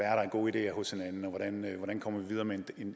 er af gode ideer hos hinanden og hvordan vi kommer videre med